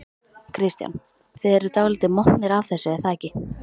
Kristján: Þið eruð dálítið montnir af þessu er það ekki?